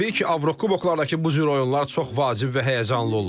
Təbii ki, Avrokuboklardakı bu cür oyunlar çox vacib və həyəcanlı olur.